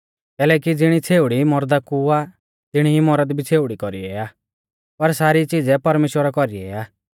कैलैकि ज़िणी छ़ेउड़ी मौरदा कु आ तिणी ई मौरद भी छ़ेउड़ी कौरीऐ आ पर सारी च़ीज़ै परमेश्‍वरा कौरीऐ आ